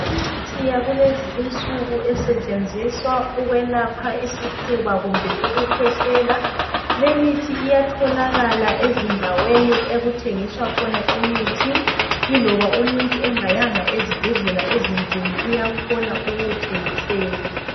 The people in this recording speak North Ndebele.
Imithi yakulezi insuku esetshenziswa ukwelapha isifuba kumbe ukukhwehlela. Limithi iyatholakala ezindaweni okuthengiswa khona imithi. Yiloba umuntu engayanga ezibhedlela ezinkulu uyakhona ukuwuthengiselwa.